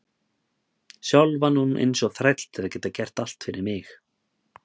Sjálf vann hún eins og þræll til að geta gert allt fyrir mig.